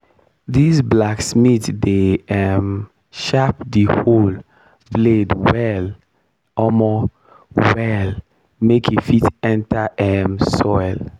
dis blacksmith dey um sharp di hoe blade well omo well make e fit enter um soil.